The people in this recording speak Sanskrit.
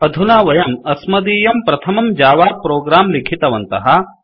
अधुना वयं अस्मदीयं प्रथमं जावा प्रोग्राम लिखितवन्तः